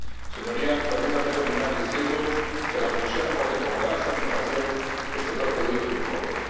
Señorías, permítanme terminar diciendo que la Comisión acoge con gran satisfacción estos dos proyectos de informe.